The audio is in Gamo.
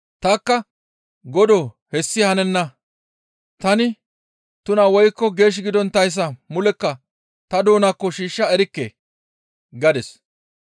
«Tanikka, ‹Godoo hessi hanenna; tani tuna woykko geesh gidonttayssa mulekka ta doonaakko shiishsha erikke› gadis.